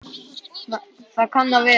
Það kann að vera